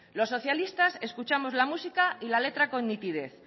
los socialistas escuchamos la música y la letra con nitidez